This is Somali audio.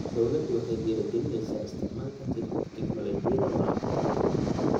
Dawladdu waxay dhiirigelinaysaa isticmaalka tignoolajiyada waraabka.